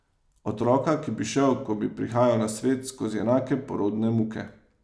Otroka, ki bi šel, ko bi prihajal na svet, skozi enake porodne muke.